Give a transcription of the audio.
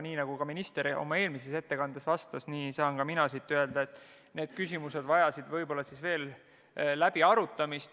Nii nagu minister oma ettekandes ütles, nii saan ka mina öelda, et need küsimused vajasid veel läbiarutamist.